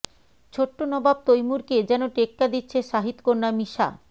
ছোট্ট নবাব তৈমুরকে যেন টেক্কা দিচ্ছে শাহিদ কন্যা মিশা